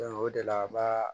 o de la an b'a